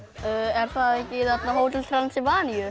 er það ekki í Hótel